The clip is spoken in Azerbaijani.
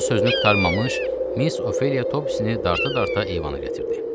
O sözünü qurtarmamış Miss Ofeliya Topsini dartara-darta eyvana gətirdi.